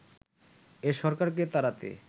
এ সরকারকে তাড়াতে